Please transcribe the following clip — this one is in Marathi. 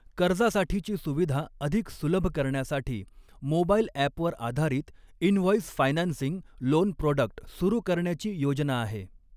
कर्जासाठीची सुविधा अधिक सुलभ करण्यासाठी, मोबाईल अॅपवर आधारित इनव्हॉंईस फायनान्सिंग लोन प्रोडक्ट सुरु करण्याची योजना आहे.